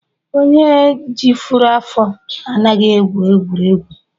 Onye rijuru afọ anaghị egwu egwuregwu